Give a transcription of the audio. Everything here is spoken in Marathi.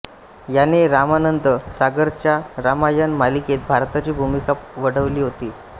याने रामानंद सागरच्या रामायण मालिकेत भरताची भूमिका वठवली होती